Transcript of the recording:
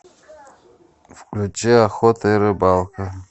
включи охота и рыбалка